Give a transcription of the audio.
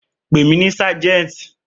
Pè mí ní Sergeant!